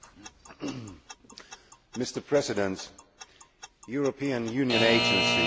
Mr President, European Union agencies do a very important job.